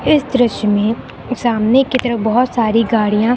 इस दृश्य में सामने की तरफ बहुत सारी गाड़ियां--